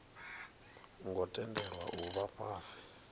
ngo tendelwa u vha fhasi